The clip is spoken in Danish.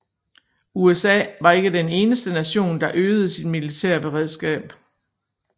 USA var ikke den eneste nation der øgede sit militære beredskab